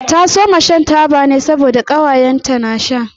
Ta soma shan taba ne saboda ƙawaye ta na sha.